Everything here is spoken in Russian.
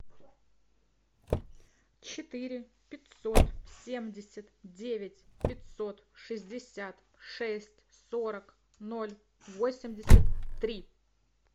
четыре пятьсот семьдесят девять пятьсот шестьдесят шесть сорок ноль восемьдесят три